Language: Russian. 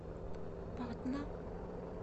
патна